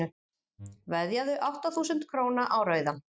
veðjaðu átta þúsund króna á rauðan